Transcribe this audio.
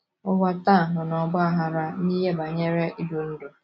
Ụwa taa nọ n’ọgba aghara n’ihe banyere idu ndú.